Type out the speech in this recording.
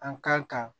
An kan ka